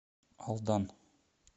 алдан